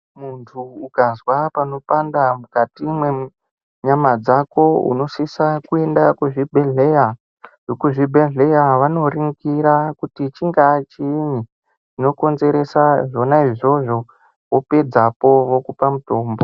Muntu ukazwa panopanda mukati mwenyama dzako unosisa kuenda kuzvibhedhleya vekuzvibhedhleya vanoringira kuti chingaa chiinyi chinokonzeresa zvona izvozvo wopedzapo vokupa mutombo.